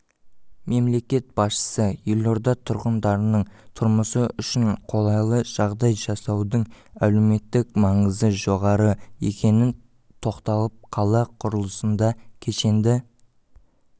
мемлекет басшысы елорда тұрғындарының тұрмысы үшін қолайлыжағдай жасаудың әлеуметтік маңызы жоғары екеніне тоқталып қала құрылысында кешенді